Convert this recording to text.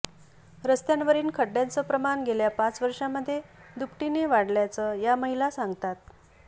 रस्त्यांवरील खड्ड्यांचं प्रमाण गेल्या पाच वर्षांमध्ये दुपटीने वाढल्याचं या महिला सांगतात